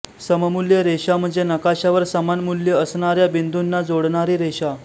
सममूल्य रेषा म्हणजे नकाशावर समान मूल्य असणार्या बिंदुना जोडणारी रेषा